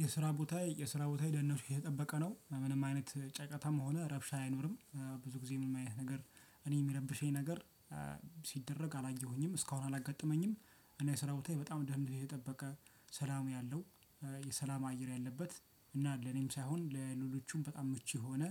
የስራ ቦታዬ የስራ ቦታዬ ደህንነቱ የተጠበቀ ነው ምንም አይነት ጫጫታም ሆነ ረብሻ አይኖርም ብዙ ጊዜ ምንም አይነት ነገር እኔን ሚረብሸኝ ነገር ሲደረግ አላየሁኝም እስካሁን አላጋጠመኝም። እኔ የስራ ቦታዬ በጣም ደህንነት የጠበቀ ሰላም ያለው የሰላም አየር ያለበት እና ለኔም ሳይሆን ለሉሎቹም በጣም ምቹ የሆነ